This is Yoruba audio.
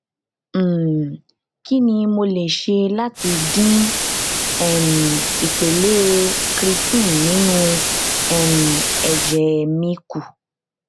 um kini mo le ṣe lati din um ipele creatine ninu um ẹjẹ mi ku